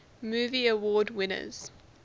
movie award winners